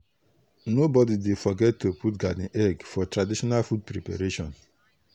nobody dey forget to put garden egg for traditional food preparation.